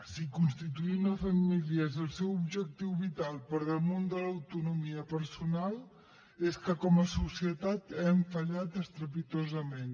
si constituir una família és el seu objectiu vital per damunt de l’autonomia personal és que com a societat hem fallat estrepitosament